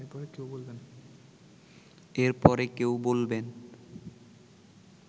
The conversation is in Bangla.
এরপরে কেউ বলবেন